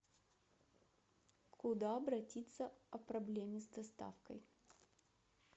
куда обратиться о проблеме с доставкой